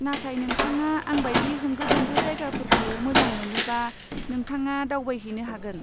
नाथाय, नोंथाङा आं बायदि होंगो दोंगो जायगाफोरखौ मोजां मोनोबा, नोंथाङा दावबायहैनो हागोन।